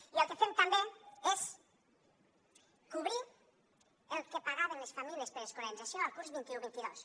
i el que fem també és cobrir el que pagaven les famílies per escolarització el curs vint un vint dos